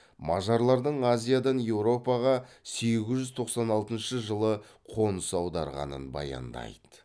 мажарлардың азиядан еуропаға сегіз жүз тоқсан алтыншы жылы қоныс аударғанын баяндайды